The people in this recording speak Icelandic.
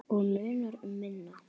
Og munar um minna.